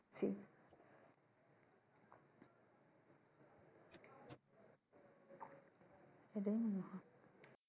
গ